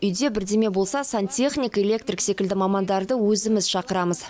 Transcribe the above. үйде бірдеңе болса сантехник электрик секілді мамандарды өзіміз шақырамыз